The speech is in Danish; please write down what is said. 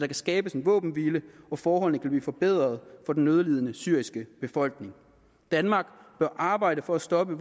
kan skabes en våbenhvile så forholdene kan blive forbedret for den nødlidende syriske befolkning danmark bør arbejde for at stoppe